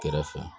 Kɛrɛfɛ